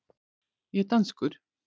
Ég er danskur.